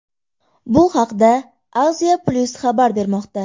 Bu haqda Asia Plus xabar bermoqda .